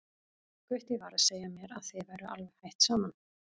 Gutti var að segja mér að þið væruð alveg hætt saman.